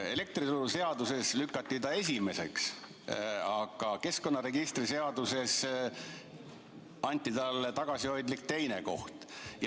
Elektrituruseaduses lükati ta esimeseks, aga keskkonnaregistri seaduses anti talle tagasihoidlik teine koht.